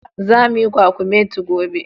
Zamu yi kwakumeti gobe.